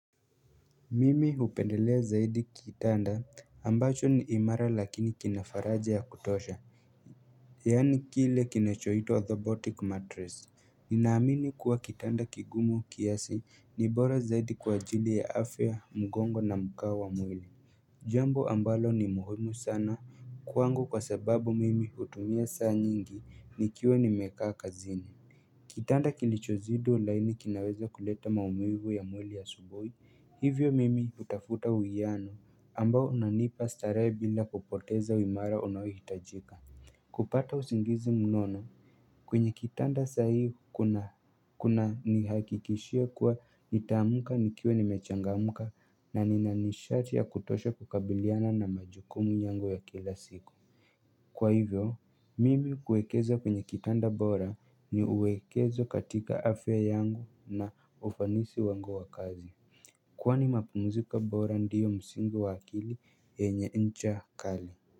Mimi hupendelea zaidi kitanda ambacho ni imara lakini kina faraja ya kutosha Yaani kile kinechoitwa orthopotic mattress Ninaamini kuwa kitanda kigumu kiasi ni bora zaidi kwa ajili ya afya mgongo na mkao wa mwili Jambo ambalo ni muhimu sana kwangu kwa sababu mimi hutumia saa nyingi nikiwa nimekaa kazini Kitanda kilichozidi ulaini kinaweza kuleta maumivu ya mwili asubuhi Hivyo mimi hutafuta uwiano ambao unanipa starehe bila kupoteza uimara unaohitajika kupata usingizi mnono kwenye kitanda saa hii kunanihakikishia kuwa nitaamka nikiwa nimechangamka na nina nishati ya kutosha kukabiliana na majukumu yangu ya kila siku Kwa hivyo mimi kuekeza kwenye kitanda bora ni uwekezo katika afya yangu na ufanisi wangu wa kazi Kwani mapumziko bora ndiyo msingi wa akili yenye ncha kali.